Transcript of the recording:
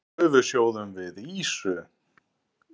Nú gufusjóðum við ýsu.